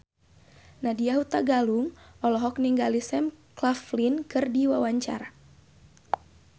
Nadya Hutagalung olohok ningali Sam Claflin keur diwawancara